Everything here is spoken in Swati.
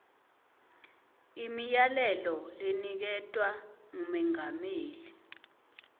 imiyalelo leniketwe ngumengameli